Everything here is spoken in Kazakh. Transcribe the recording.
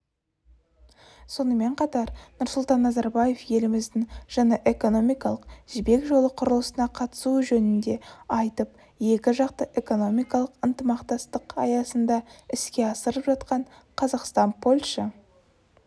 сонымен қатар нұрсұлтан назарбаев еліміздің жаңа экономикалық жібек жолы құрылысына қатысуы жөнінде айтып екіжақты экономикалық ынтымақтастық аясында іске асырылып жатқан қазақстан-польша